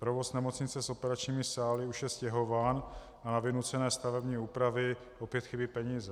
Provoz nemocnice s operačními sály už je stěhován a na vynucené stavební úpravy opět chybí peníze.